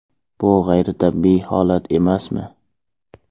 Bu g‘ayritabiiy holat emasmi?..